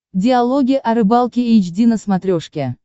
диалоги о рыбалке эйч ди на смотрешке